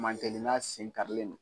Mancɛɛni n'a sen karilen don.